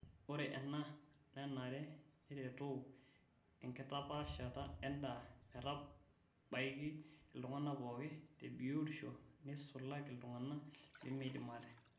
Ore enaa nenare neretoo enkitapashata endaa metabaiki iltung'ana pooki tebiotisho neisulaki iltung'ana lemeidim ate.